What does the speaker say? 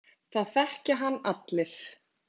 Það þekkja hann allir.